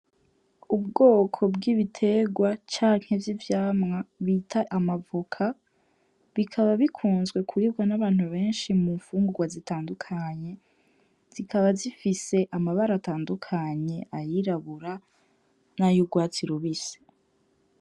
Ubwoko bw'ibiterwa canke vy'ivyamwa bita amavoka, bikaba bikunzwe kuribwa n'abantu benshi mu mfungurwa zitandukanye, zikaba zifise amabara atandukanye, ayirabura nay'urwatsi rubisi.